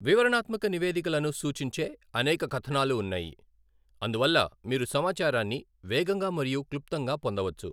వివరణాత్మక నివేదికలను సూచించే అనేక కథనాలు ఉన్నాయి, అందువల్ల మీరు సమాచారాన్ని వేగంగా మరియు క్లుప్తంగా పొందవచ్చు.